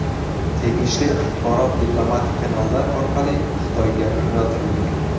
Tegishli axborot diplomatik kanallar orqali Xitoyga yo‘naltirilgan.